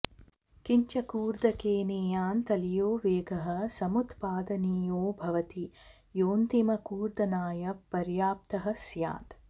किञ्च कूर्दकेनेयान् तलीयो वेगः समुत्पादनीयो भवति योऽन्तिमकूर्दनाय पर्याप्तः स्यात्